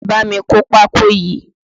Bámi kó pákó yìí!